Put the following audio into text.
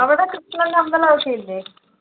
അവിടെ കൃഷ്ണൻ്റെ അമ്പലമൊക്കെ ഇല്ലേ